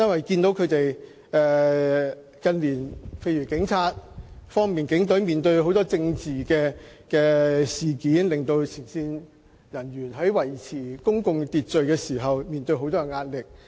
警隊近年面對很多政治事件，令前線警務人員在維持公共秩序時面對沉重壓力。